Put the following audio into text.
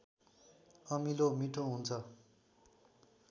अमिलो मिठो हुन्छ